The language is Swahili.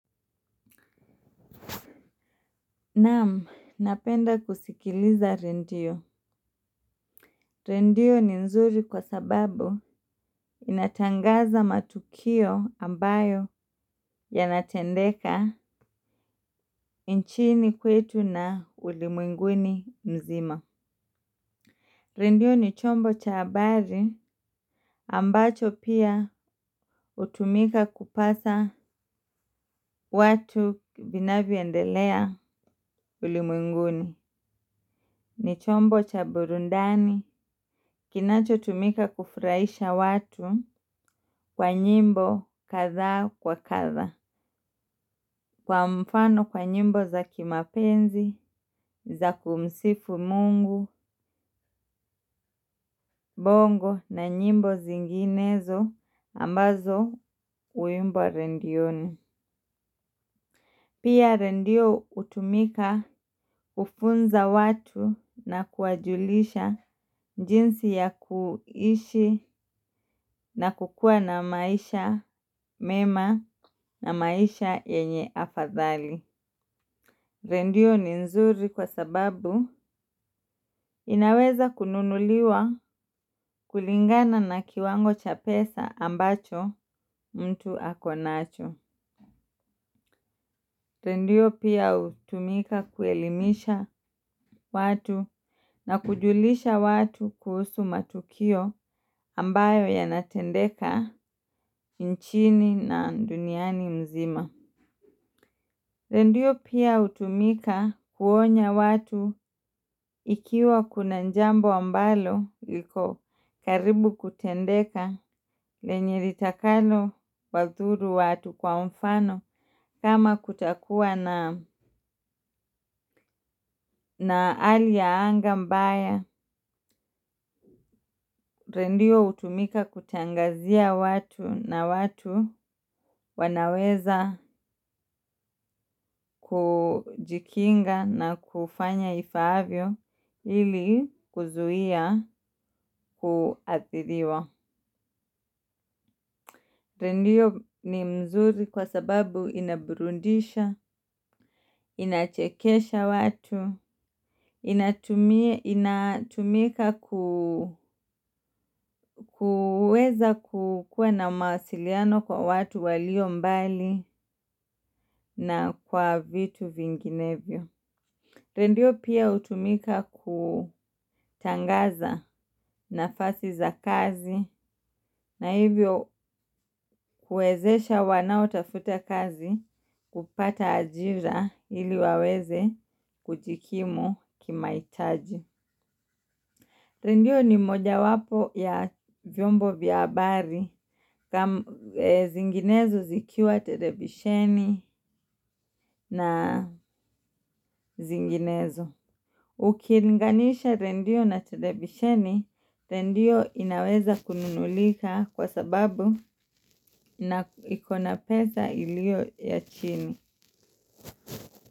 Naam, napenda kusikiliza rendio. Rendio ni nzuri kwa sababu inatangaza matukio ambayo yanatendeka nchini kwetu na ulimwenguni mzima. Rendio ni chombo cha habari ambacho pia hutumika kupasa watu vinavyoendelea ulimwenguni. Ni chombo cha burundani kinacho tumika kufraisha watu. Kwa nyimbo katha wa katha kwa mfano kwa nyimbo za kimapenzi za kumsifu Mungu bongo na nyimbo zinginezo ambazo uimbwa rendioni. Pia rendio utumika kufunza watu na kuwajulisha jinsi ya kuishi na kukuwa na maisha mema na maisha yenye afadhali. Rendio ni nzuri kwa sababu inaweza kununuliwa kulingana na kiwango cha pesa ambacho mtu akonacho. Rendio pia utumika kuelimisha watu na kujulisha watu kuhusu matukio ambayo yanatendeka nchini na duniani mzima. Rendio pia utumika kuonya watu ikiwa kuna njambo ambalo liko karibu kutendeka lenye ritakalo wathuru watu kwa mfano kama kutakuwa na ali ya anga mbaya. Rendio utumika kutangazia watu na watu wanaweza kujikinga na kufanya ifaavyo ili kuzuia kuathiriwa. Rendio ni mzuri kwa sababu inaburundisha, inachekesha watu, inatumika kuweza kukuwa na mawasiliano kwa watu walio mbali na kwa vitu vinginevyo. Rendio pia hutumika kutangaza nafasi za kazi na hivyo kuezesha wanao tafuta kazi kupata ajira ili waweze kujikimu kimaitaji. Rendio ni moja wapo ya vyombo vya abari zinginezo zikiwa televisheni na zinginezo. Ukilinganisha rendio na televisheni, rendio inaweza kununulika kwa sababu na ikona peza ilio ya chini.